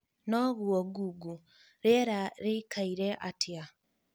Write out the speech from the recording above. noguo google rīera rīikaire atia